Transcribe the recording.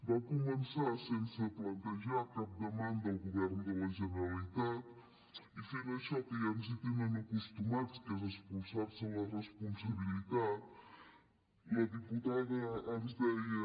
va començar sense plantejar cap demanda al govern de la generalitat i fent això que ja ens hi tenen acostumats que és espolsar se la responsabilitat la diputada ens deia